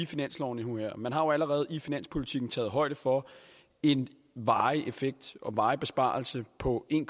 finansloven man har jo allerede i finanspolitikken taget højde for en varig effekt og varig besparelse på en